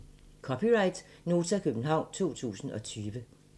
(c) Nota, København 2020